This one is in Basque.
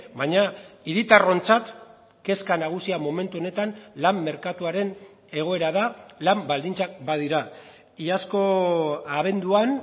baina hiritarrontzat kezka nagusia momentu honetan lan merkatuaren egoera da lan baldintzak badira iazko abenduan